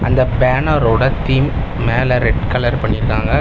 இந்த பேனரோட தீம் மேல ரெட் கலர் பண்ணிருக்காங்க.